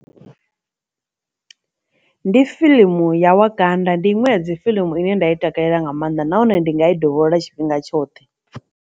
Ndi fiḽimu ya wakanda ndi inwe ya dzi fiḽimu ine nda i takalela nga maanḓa nahone ndi nga i dovholola tshifhinga tshoṱhe.